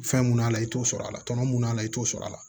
Fɛn mun y'a la i t'o sɔrɔ a la tɔnɔ mun na a la i t'o sɔrɔ a la